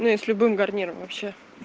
ну с любым гарниром вообще